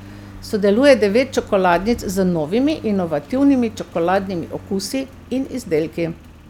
Sodeluje devet čokoladnic z novimi, inovativnimi čokoladnimi okusi in izdelki.